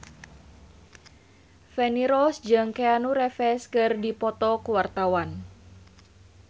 Feni Rose jeung Keanu Reeves keur dipoto ku wartawan